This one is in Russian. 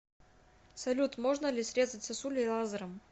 салют можно ли срезать сосули лазером